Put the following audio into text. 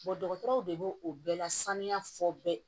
dɔgɔtɔrɔ de b'o o bɛɛ lasaniya fɔ bɛɛ